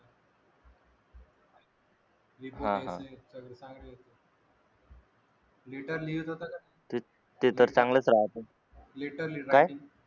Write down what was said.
latter लिहीत होता का latter writing